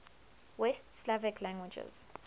west slavic languages